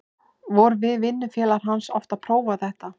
Vorum við vinnufélagar hans oft að prófa þetta.